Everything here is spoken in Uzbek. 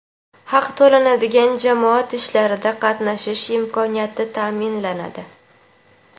haq to‘lanadigan jamoat ishlarida qatnashish imkoniyati taʼminlanadi.